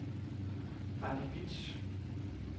Randi Bitsch